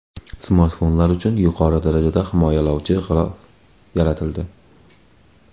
Smartfonlar uchun yuqori darajada himoyalovchi g‘ilof yaratildi .